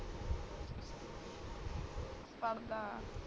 ਪੜਦਾ ਆ